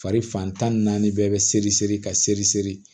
Fari fan tan ni naani bɛɛ bɛ seri seri ka seri seri